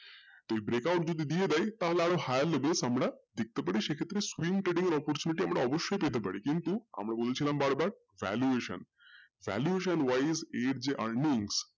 তো break out যদি দিয়ে দেয় তাহলে আরও higher level আমরা দেখতে পারি সেখানে আমরা screen treading অবশ্যই করতে পারি কিন্তু আমরা বলেছিলাম বারবার valuation, valuation wise এর যে earnings